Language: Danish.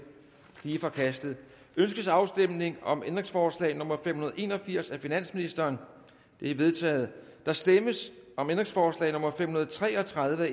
det er forkastet ønskes afstemning om ændringsforslag nummer fem hundrede og en og firs af finansministeren det er vedtaget der stemmes om ændringsforslag nummer fem hundrede og tre og tredive af